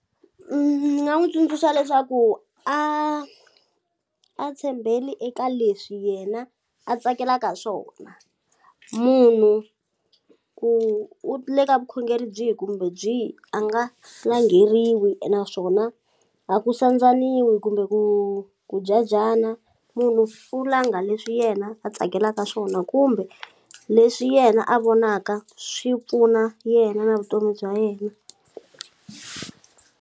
Ni nga n'wu tsundzuxa leswaku a a tshembeli eka leswi yena a tsakelaka swona munhu ku u le ka vukhongeri byihi kumbe byihi a nga langheriwi naswona a ku sandzaniwi kumbe ku ku jajana munhu u langha leswi yena a tsakelaka swona kumbe leswi yena a vonaka swi pfuna yena na vutomi bya yena.